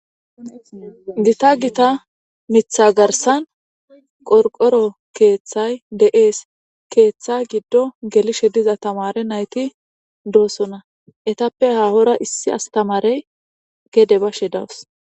gita gita mitha garsan qorqoro keeththay deees keeththa giddo gelishe diza tamare nayti doosona etappe haahora issi astamarey gede bashe dawus